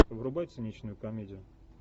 врубай циничную комедию